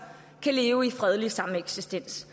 kan leve i fredelig sameksistens